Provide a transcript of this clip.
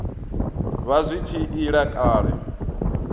vha zwi tshi ila kale